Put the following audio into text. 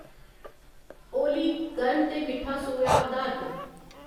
ओली गर्म ते मिट्ठा सोया अधारत